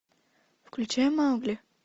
включай маугли